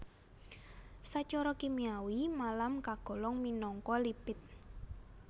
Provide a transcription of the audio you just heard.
Sacara kimiawi malam kagolong minangka lipid